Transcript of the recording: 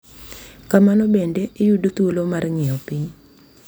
Kamano bende, iyudo thuolo mar ng’iyo piny